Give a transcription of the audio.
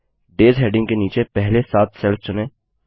days heading के नीचे पहले सात सेल्स चुनें